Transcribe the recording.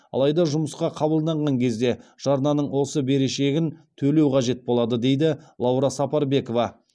алайда жұмысқа қабылданған кезде жарнаның осы берешегін төлеу қажет болады дейді лаура сапарбекова